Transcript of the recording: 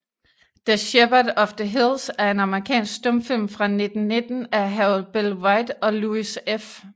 The Shepherd of the Hills er en amerikansk stumfilm fra 1919 af Harold Bell Wright og Louis F